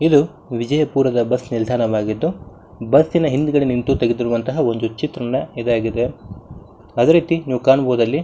ಇದು ವಿಜಯಪುರದ ಬಸ್ ನಿಲ್ದಾಣವಾಗಿದ್ದು ಬಸ್ ನ ಹಿಂದ್ಗಡೆ ನಿಂತು ತಗೆದಿರುವಂತಹ ಒಂದು ಚಿತ್ರಣ ಇದಾಗಿದೆ ಅದೇ ರೀತಿ ನೀವು ಕಾಣಬಹುದಾ ಅಲ್ಲಿ --